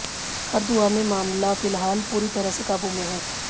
हरदुआ में मामला फिलहाल पूरी तरह से काबू में है